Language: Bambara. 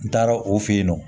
N taara o fe yen nɔ